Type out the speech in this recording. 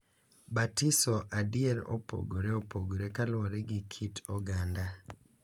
Batiso adier opogore opogore kaluwore gi kit oganda.